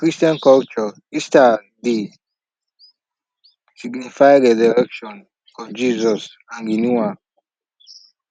for christian culture easter dey signify resurrection of jesus and renewal